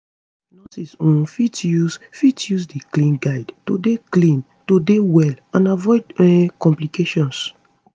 nurses um fit use fit use di clean guides to dey clean to dey well and avoid um complications